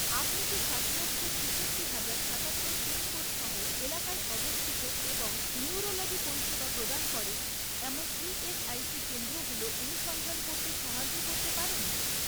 আপনি কি সাত লক্ষ, ছিষট্টি হাজার, সাতাত্তর পিনকোড সহ এলাকায় অবস্থিত এবং নিউরোলজি পরিষেবা প্রদান করে এমন ইএসআইসি কেন্দ্রগুলো অনুসন্ধান করতে সাহায্য করতে পারেন?